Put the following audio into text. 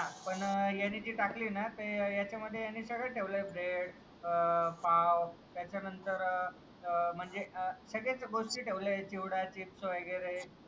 पण ह्यांनी जे टाकली ना त्याच्या मध्ये त्यानी सगळं ठेवलय ब्रेड, पाव त्याच्या नंतर म्हणजे सगळेच गोष्टी तेवले आहेत चिवडा, चिप्स वगेरे.